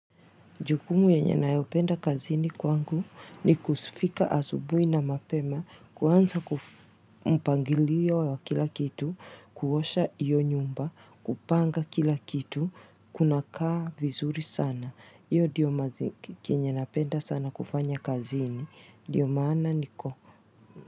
Jukumu yenye ninanayopenda kazini kwangu ni kufika asubuhi na mapema, kuanza mpangilio wa kila kitu, kuosha hiyo nyumba, kupanga kila kitu, kunakaa vizuri sana. Hiyo ndiyo chenye napenda sana kufanya kazini, ndio maana niko.